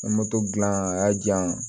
gilan a y'a janya